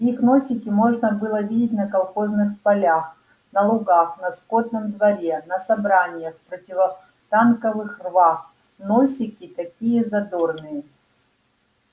их носики можно было видеть на колхозных полях на лугах на скотном дворе на собраниях в противотанковых рвах носики такие задорные